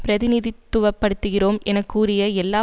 பிரதிநிதித்துவப்படுத்துகிறோம் என கூறிய எல்லா